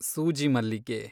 ಸೂಜಿ ಮಲ್ಲಿಗೆ